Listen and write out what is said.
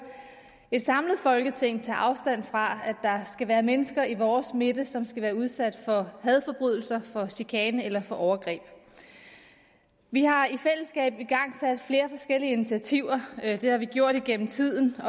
et samlet folketing tage afstand fra at der er mennesker i vores midte som skal udsættes for hadforbrydelser for chikane eller for overgreb vi har i fællesskab igangsat flere forskellige initiativer det har vi gjort igennem tiden og